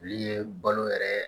Olu ye balo yɛrɛ